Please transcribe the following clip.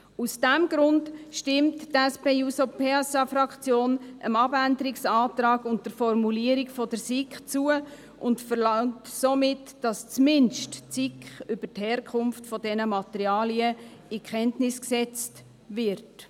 Aus diesem Grund stimmt die SP-JUSOPSA-Fraktion dem Abänderungsantrag und der Formulierung der SiK zu und verlangt somit, dass zumindest die SiK über die Herkunft dieser Materialien in Kenntnis gesetzt wird.